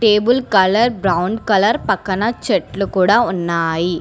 Table colour brown colour పక్కన చెట్లు కూడ ఉన్నాయి.